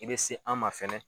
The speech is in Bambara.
I bɛ se an ma fɛnɛ